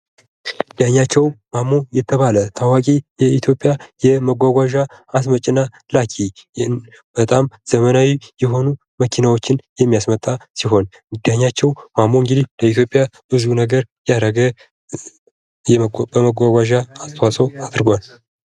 ዳኛቸው ማሞ የተባለ ተዋቂ የኢትዮጵያ የመጎጎጃ አስመጭና ላኪ በጣም ዘመናዊ የሆኑ መኪናዎችን የሚያስመጣ ሲሆን ዳኛቸው ማሞ ለኢትዮጵያ ብዙ ነገር ያደረገ የማጓጓዣ አስተዋጽኦ አድርጓል።